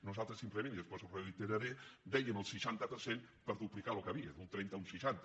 nosaltres simplement i després ho reiteraré dèiem el seixanta per cent per duplicar el que hi havia d’un trenta a un seixanta